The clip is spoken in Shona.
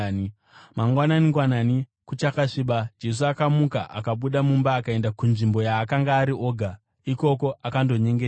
Mangwanani-ngwanani, kuchakasviba, Jesu akamuka akabuda mumba akaenda kunzvimbo yaakanga ari oga, ikoko akandonyengetera.